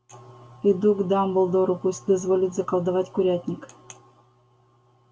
иду к дамблдору пусть дозволит заколдовать курятник